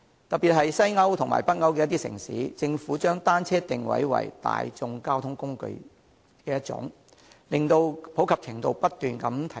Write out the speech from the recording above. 特別是在西歐和北歐的一些城市，政府將單車定位為一種大眾交通工具，令其普及程度不斷提高。